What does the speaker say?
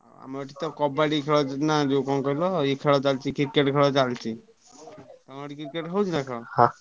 ଆମର ଏଠି ତ କବାଡି ଖେଳ ହଉଛି ନା ଯୋଉ କଣ କହିଲ ଏଇ ଖେଳ ଚାଲିଛି Cricket ଖେଳ ଚାଲିଛି ତମର ସେଠି Cricket ହଉଛି ନା ଖେଳ?